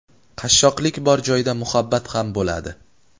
Qashshoqlik bor joyda muhabbat ham bo‘ladi.